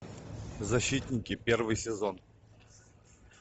защитники первый сезон